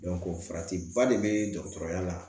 farati ba de bɛ dɔgɔtɔrɔya la